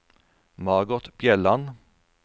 Margot Bjelland